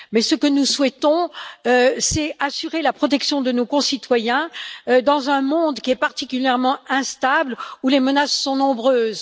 Ce que nous souhaitons, c'est assurer la protection de nos concitoyens dans un monde qui est particulièrement instable et où les menaces sont nombreuses.